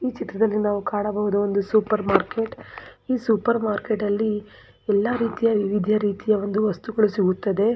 ಈ ಚಿತ್ರದಲ್ಲಿ ನಾವು ಕಾಣಬಹುದು ಒಂದು ಸೂಪರ್ ಮಾರ್ಕೆಟ್ ಈ ಸೂಪರ್ ಮಾರ್ಕೆಟ್ ಅಲ್ಲಿ ಎಲ್ಲ ರೀತಿಯ ವಿವಿಧ ರರೀತಿಯ ಒಂದು ವಸ್ತುಗಳು ಸಿಗುತ್ತದೆ.